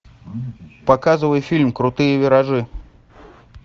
показывай фильм крутые виражи